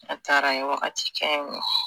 A taara a ye wagati kɛ yennɔ.